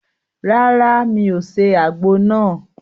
Ràrá, mí o se àgbo nàá